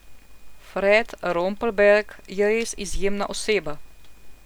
Fred Rompelberg je res izjemna oseba.